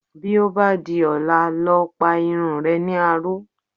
Bí ó bá di ọ̀la, lọ pa irun re ní aró.